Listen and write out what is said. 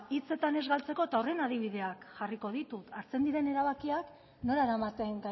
hitzetan ez galtzeko eta horren adibideak jarriko ditut hartzen diren erabakiak nora eramaten